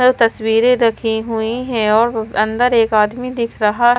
तस्वीरें रखी हुई है और अंदर एक आदमी दिख रहा--